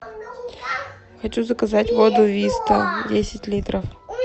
хочу заказать воду виста десять литров